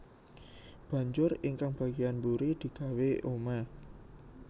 Banjur ingkang bagéyan mburi digawé omah